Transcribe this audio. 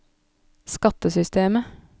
skattesystemet